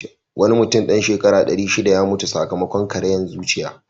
Wani mutum dan shekara ɗari shiɗa ya mutu sakamakon ƙariyan zuciya.